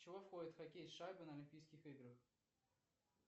чего входит хоккей с шайбой на олимпийских играх